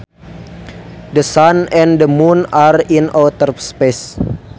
The sun and the moon are in outer space